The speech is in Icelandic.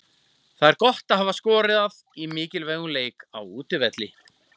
Það er gott að hafa skorað í mikilvægum leik, á útivelli.